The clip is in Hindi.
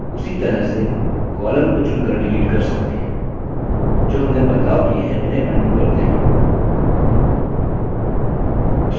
उसी तरह से columns को चुनकर डिलीट कर सकते हैं जो हमने बदलाव किए उन्हें अन्डू करते हैं